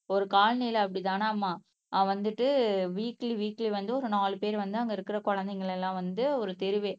ஒரு காலனில அப்படித்தானாம்மா அஹ் வந்துட்டு வீக்லி வீக்லி வந்து ஒரு நாலு பேர் வந்து அங்க இருக்கிற குழந்தைகளை எல்லாம் வந்து ஒரு தெருவே